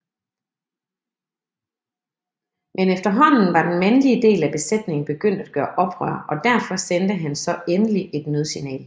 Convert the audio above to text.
Men efterhånden var den mandeligedel af besætningen begyndt at gøre oprør og derfor sendte han så endelig et nødsignal